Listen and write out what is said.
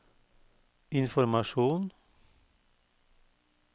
informasjon